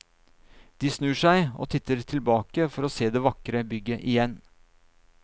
De snur seg og titter tilbake for å se det vakre bygget igjen.